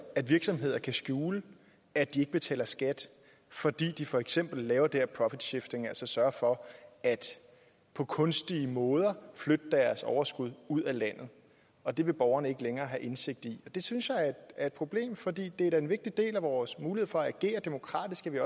at virksomheder kan skjule at de ikke betaler skat fordi de for eksempel laver det her profit shifting altså sørger for på kunstige måder at flytte deres overskud ud af landet og det vil borgerne så ikke længere have indsigt i det synes jeg er et problem for det er da en vigtig del af vores mulighed for at agere demokratisk at vi